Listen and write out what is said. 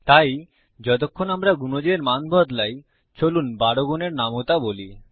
তাই যতক্ষণ আমরা গুনজের মান বদলাই চলুন 12 গুনের নামতা বলি